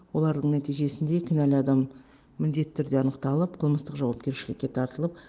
олардың нәтижесінде кінәлі адам міндетті түрде анықталып қылмыстық жауапкершілікке тартылып